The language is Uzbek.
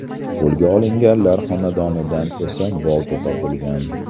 Qo‘lga olinganlar xonadonidan esa bolta topilgan.